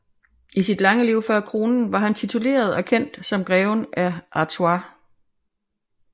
I sit lange liv før kroningen var han tituleret og kendt som greven af Artois